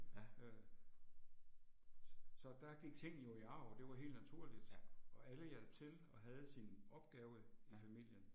Ja. Ja. Ja